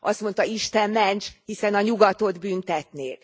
Azt mondta Isten ments, hiszen a nyugatot büntetnék!